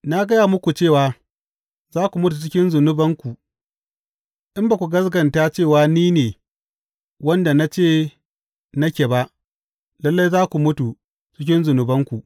Na gaya muku cewa za ku mutu cikin zunubanku; in ba ku gaskata cewa ni ne wanda na ce nake ba, lalle za ku mutu cikin zunubanku.